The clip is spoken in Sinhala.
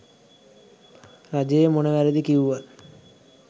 රජයේ මොන වැරදි කිව්වත්